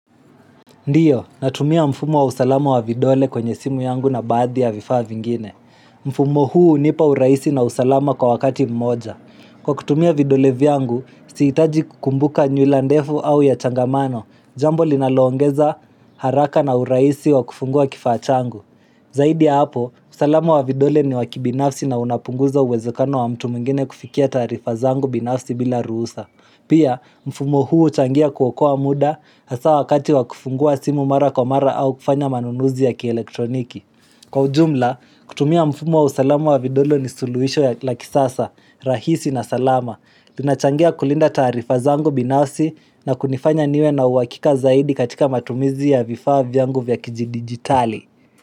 Ndio, natumia mfumo wa usalama wa vidole kwenye simu yangu na baadhi ya vifaa vingine. Mfumo huu unipa uraisi na usalama kwa wakati mmoja. Kwa kutumia vidole vyangu, siitaji kukumbuka nywilandefu au ya changamano, jambo linaloongeza haraka na uraisi wa kufungua kifaa changu. Zaidi ya hapo, usalama wa vidole ni wakibinafsi na unapunguza uwezekano wa mtu mwingine kufikia taarifa zangu binafsi bila ruhusa. Pia, mfumo huu uchangia kuokoa muda hasa wakati wakufungua simu mara kwa mara au kufanya manunuzi ya kielektroniki. Kwa ujumla, kutumia mfumo wa usalama wa vidole ni suluisho ya lakisasa, rahisi na salama. Tunachangia kulinda taarifa zangu binasi na kunifanya niwe na uakika zaidi katika matumizi ya vifaa vyangu vya kiji digitali.